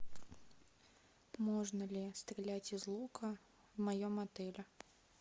можно ли стрелять из лука в моем отеле